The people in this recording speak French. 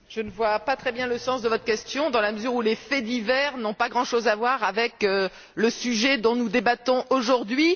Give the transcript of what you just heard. Je ne vois pas très bien le sens de votre question dans la mesure où les faits divers n'ont pas grand chose à voir avec le sujet dont nous débattons aujourd'hui.